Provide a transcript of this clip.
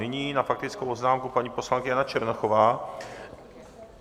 Nyní na faktickou poznámku paní poslankyně Jana Černochová.